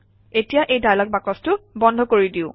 এতিয়া এই ডায়লগ বাকচটো বন্ধ কৰি দিওঁ